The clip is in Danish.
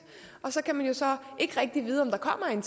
og så kan man ikke rigtig vide om der kommer en